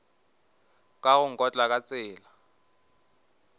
ka go nkotla ka tsela